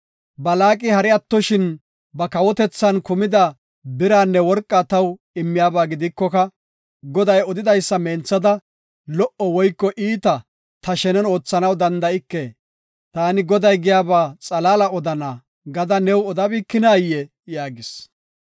‘Balaaqi hari attoshin ba kawotethan kumida biraanne worqaa taw immiyaba gidikoka Goday odidaysa menthada lo77o woyko iita ta shenen oothanaw danda7ike. Taani Goday giyaba xalaala odana’ gada new odabikinayee?” yaagis.